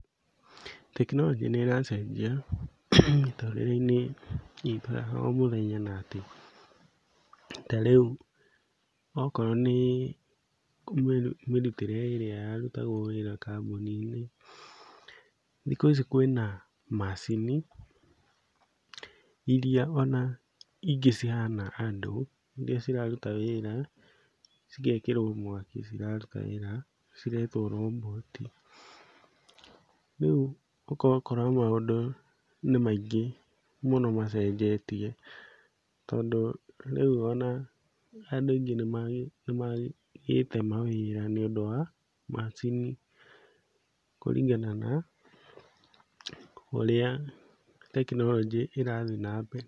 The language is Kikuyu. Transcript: Tekinoronjĩ nĩ ĩracenjia mĩtũrĩre~inĩ itũ ya o mũthenya na atĩ tarĩũ okorwo nĩ mĩrutĩre ĩrĩa ya rutagwo wĩra kambuni~inĩ thikũ ici kwĩna macini iria ona ingĩ cihana andũ iria ciraruta wĩra cigekĩrwo mwaki ciraruta wĩra ciretwo robot. Rĩu ũgakora maũndũ nĩ maingĩ mũno macenjetie. Tondũ rĩũ ona andũ aingĩ nĩ magĩte mawĩra nĩ ũndũ wa macini kuringana na ũrĩa tekinoronjĩ ĩrathi na mbere.